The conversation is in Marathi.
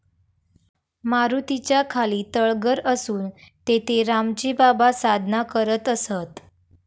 मारुतीच्या खाली तळघर असून तेथे रामजी बाबा साधना करत असत.